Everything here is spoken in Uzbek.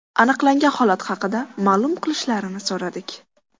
Aniqlangan holat haqida ma’lum qilishlarini so‘radik.